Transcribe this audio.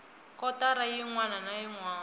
kotara yin wana na yin